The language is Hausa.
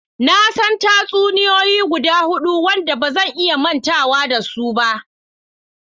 Na san tatsuniyoyi guda hudu wadanda ba zan iya mantawa da su ba.